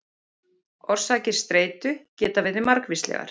Orsakir streitu geta verið margvíslegar.